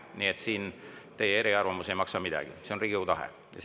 Nii et siin teie eriarvamus ei maksa midagi, see on Riigikogu tahe.